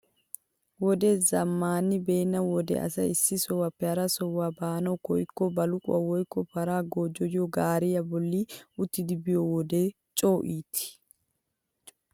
Wodee zammaani beenna wode asay issi sohuwaappe hara sohuwaa baanawu koyikko baluqqoy woykko paray goojjiyoo gaariyaa bolli uttidi biyoo wode coo iitii!